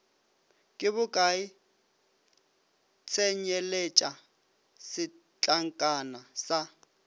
ke bokae tsenyeletša setlankana sa